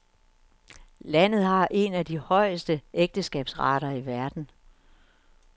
Landet har en af de højeste ægteskabsrater i verden.